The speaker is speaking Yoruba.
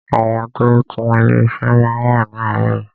Àwọn tó ń tún ilé ṣe máa wá ni aarọ yìí.